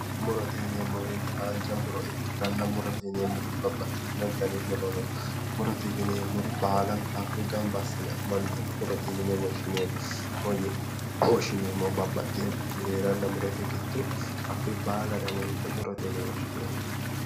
Murote yineemmo woyiite haanja muro ikkitanna murote yineemmoti babbaxitino dani muro no murote yineemmori baalanta hakkoye gamba assine amande murote yine woshshineemmo. yine woshshineemmohu babbaxxewoorichi heeranna murote giddo baalare amande murote yine woshshineemmo.